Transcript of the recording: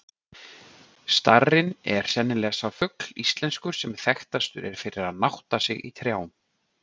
Starinn er sennilega sá fugl íslenskur, sem þekktastur er fyrir að nátta sig í trjám.